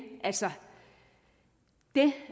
det